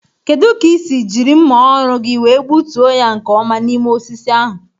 Kedu ka ísì jiri mma ọrụ gị wee gbutuo ya nke ọma n'ime osisi ahụ?